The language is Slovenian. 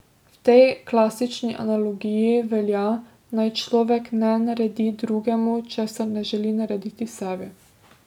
V tej klasični analogiji velja, naj človek ne naredi drugemu, česar ne želi narediti sebi.